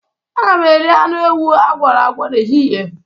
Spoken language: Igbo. Aga m eri anụ ewu a gwọrọ agwọ n'ehihie.